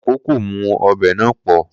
Koko kò mú ọbẹ̀ náà pọ̀